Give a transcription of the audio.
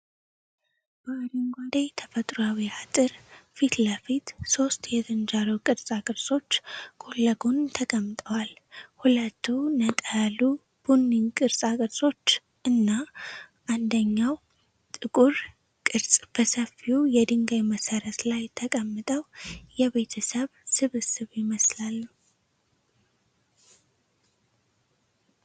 በአረንጓዴ ተፈጥሯዊ አጥር ፊት ለፊት፣ ሦስት የዝንጀሮ ቅርጻ ቅርጾች ጎን ለጎን ተቀምጠዋል። ሁለቱ ነጣ ያሉ ቡኒ ቅርጻ ቅርጾች እና አንደኛው ጥቁር ቅርጽ በሰፊው የድንጋይ መሠረት ላይ ተቀምጠው የቤተሰብ ስብስብ ይመስላሉ።